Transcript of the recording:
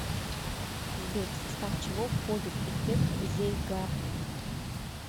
сбер в состав чего входит эффект зейгарник